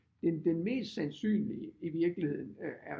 Den mest sandsynlige i virkeligheden er